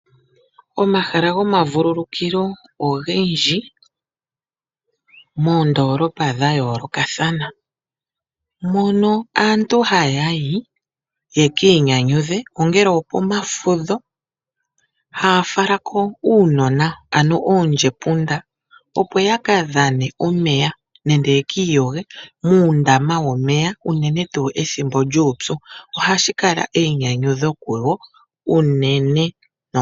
Omahala gomavulukilo ogendji shili moondolooa dha yoolokathana mono aantu haya yi ye ki inyanyudhe ongele okomafudho haafala ko uunona ano oondjepunda opo ya ka dhane omeya nenge yeki iyoge muundama womeya uunene pethimbo lyuupyu ohashi kala eyinyanyudho kuwo uunene.